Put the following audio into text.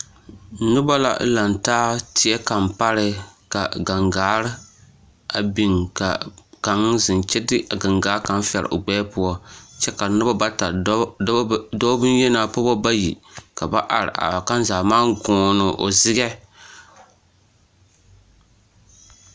Noba la lantaa teɛ kaŋ paree ka gaŋgaare a biŋ ka kaŋ zeŋ kyɛ de a gaŋgaa kaŋ fɛre o gbɛɛ poɔ kyɛ ka noba bata dɔɔ bonyenaa pagebɔ bayi ka ba are are, kaŋ zaa maŋ goone o zegɛ.